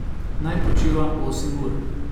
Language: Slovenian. Naj počiva osem ur.